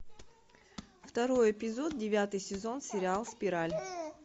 второй эпизод девятый сезон сериал спираль